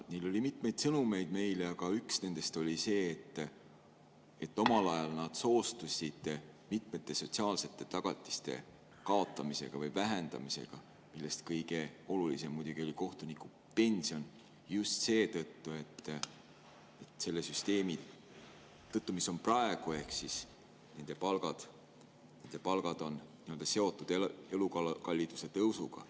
Neil oli meile mitmeid sõnumeid ja üks nendest oli see, et omal ajal nad soostusid mitmete sotsiaalsete tagatiste kaotamisega või vähendamisega, millest kõige olulisem muidugi oli kohtunikupension, just seetõttu, et selle süsteemi kohaselt, mis on praegu, on nende palgad seotud elukalliduse tõusuga.